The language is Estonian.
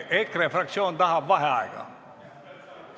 EKRE fraktsioon tahab vaheaega.